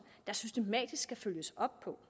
der systematisk skal følges op på